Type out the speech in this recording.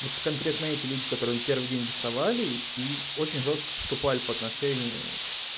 вот конкретно эти люди которые первый день доставали и очень жёстко поступали по отношению